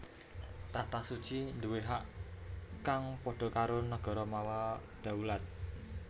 Takhta Suci nduwé hak kang padha karo nagara mawa dhaulat